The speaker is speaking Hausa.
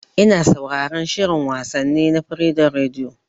Ina sauraran shin wasanni na Freedom Radio